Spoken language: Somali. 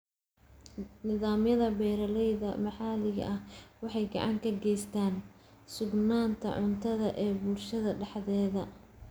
Nidaamyada beeralayda maxalliga ahi waxay gacan ka geystaan ??sugnaanta cuntada ee bulshada dhexdeeda.